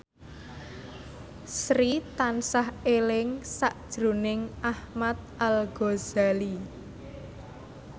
Sri tansah eling sakjroning Ahmad Al Ghazali